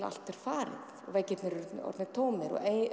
allt er farið veggirnir eru orðnir tómir og